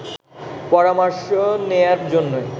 পরামর্শ নেয়ার জন্যই